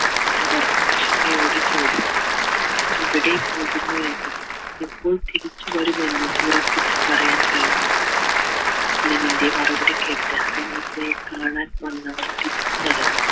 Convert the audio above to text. അവർ അക്ഷമയോടെ ചോദിച്ചു എവിടെ പോകുന്നു എന്നും എപ്പോൾ തിരിച്ചവരും എന്നും ഉറപ്പിച്ചു പറയാൻ കഴിയില്ല അസ്ലമിൻ്റെ മറുപടി കേട്ട് യെ കാണാൻ വന്നവർ തിരിച്ചു നടന്നു